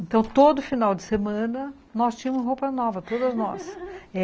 Então, todo final de semana, nós tínhamos roupa nova, todas nós.